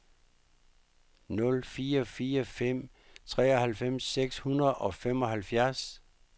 nul fire fire fem treoghalvfems seks hundrede og femoghalvfjerds